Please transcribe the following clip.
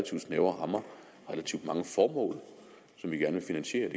snævre rammer relativt mange formål som vi gerne vil finansiere